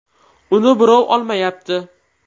Uni birov olmayapti.